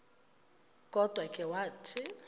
kodwa ke wathi